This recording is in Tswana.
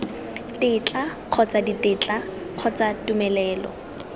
tetla kgotsa ditetla kgotsa tumelelo